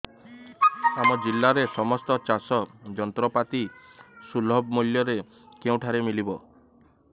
ଆମ ଜିଲ୍ଲାରେ ସମସ୍ତ ଚାଷ ଯନ୍ତ୍ରପାତି ସୁଲଭ ମୁଲ୍ଯରେ କେଉଁଠାରୁ ମିଳିବ